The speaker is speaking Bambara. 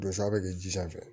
Dosa bɛ kɛ ji sanfɛ